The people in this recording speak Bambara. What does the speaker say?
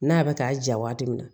N'a bɛ k'a ja waati min na